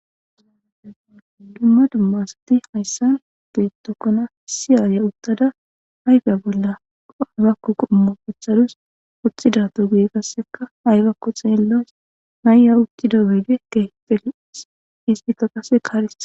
Dumma dumma asati hayssan beettokkona si aaya uttada hayga bollao aybakku qummo pethadus othida to guye qasseka aybakku xeellas nayya ukkida wede ke pelis istika qase kaarethi.